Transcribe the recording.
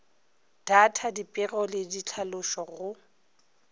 data dipego le ditlhalošo go